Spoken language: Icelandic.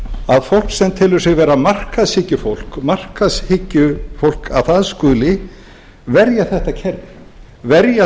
að fólk sem telur sig vera markaðshyggjufólk markaðshyggjufólk að það skuli verja þetta kerfi verja